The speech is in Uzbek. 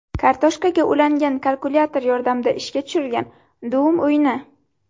Kartoshkaga ulangan kalkulyator yordamida ishga tushirilgan Doom o‘yini.